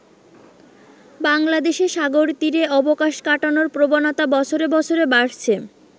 বাংলাদেশে সাগরতীরে অবকাশ কাটানোর প্রবণতা বছরে বছরে বাড়ছে।